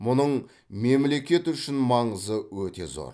мұның мемлекет үшін маңызы өте зор